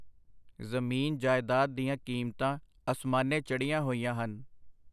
ਜ਼ਮੀਨ, ਜਾਇਦਾਦ ਦੀਆਂ ਕੀਮਤਾਂ ਅਸਮਾਨੇ ਚੜ੍ਹੀਆਂ ਹੋਈਆਂ ਹਨ.